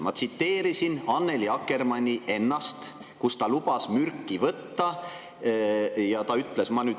Ma tsiteerisin Annely Akkermanni ennast, sest ta lubas mürki võtta.